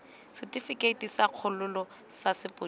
setifikeite sa kgololo sa sepodisi